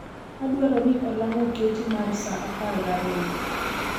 Adwaro ni olang' oketi mar sa apar gariyo